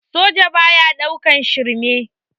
Soja baya ɗaukan shirme